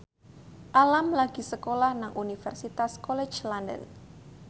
Alam lagi sekolah nang Universitas College London